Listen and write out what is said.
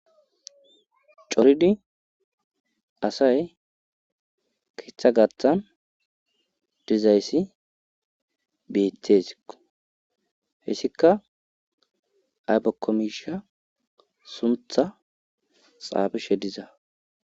coridi asay kiththa gathan dizayssi beetes hessika aypakomisha suntha xaabishe diza